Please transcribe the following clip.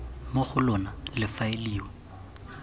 mo go lona le faeliwa